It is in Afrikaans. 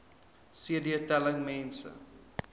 cd telling mense